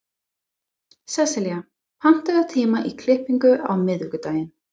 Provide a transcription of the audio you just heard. Sesselía, pantaðu tíma í klippingu á miðvikudaginn.